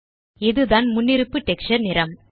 இதுதான் முன்னிருப்பு டெக்ஸ்சர் நிறம்